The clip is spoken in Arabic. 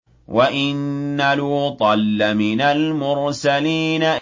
وَإِنَّ لُوطًا لَّمِنَ الْمُرْسَلِينَ